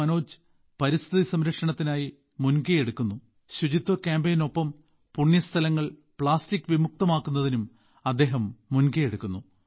മനോജ് പരിസ്ഥിതി സംരക്ഷണത്തിനായി മുൻകൈയെടുക്കുന്ന ശുചിത്വ കാമ്പെയ്നിനൊപ്പം പുണ്യസ്ഥലങ്ങൾ പ്ലാസ്റ്റിക് വിമുക്തം ആക്കുന്നതിനും അദ്ദേഹം മുൻകൈ എടുക്കുന്നു